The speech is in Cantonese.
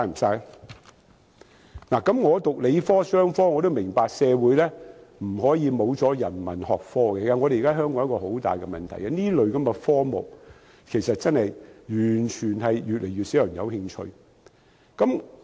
曾修讀理科和商科的我也明白社會不可沒有人文學科，現時香港一個很大的問題是，這類科目真的越來越少人感興趣。